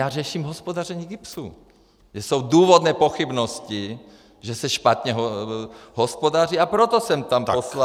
Já řeším hospodaření GIBS, kde jsou důvodné pochybnosti, že se špatně hospodaří, a proto jsem tam poslal...